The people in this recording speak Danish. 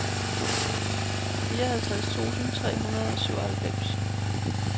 fireoghalvtreds tusind tre hundrede og syvoghalvfems